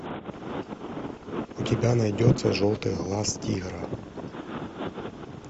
у тебя найдется желтый глаз тигра